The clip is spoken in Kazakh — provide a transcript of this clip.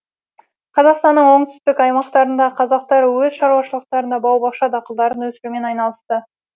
қазақстанның оңтүстік аймақтарындағы қазақтар өз шаруашылықтарында бау бақша дақылдарын өсірумен айналысты